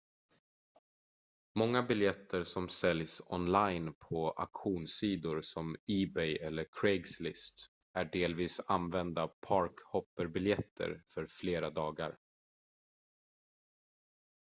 många biljetter som säljs online på auktionssidor som ebay eller craigslist är delvis använda park-hopper-biljetter för flera dagar